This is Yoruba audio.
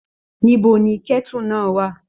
Níbo ni kẹ̀tú náà wà?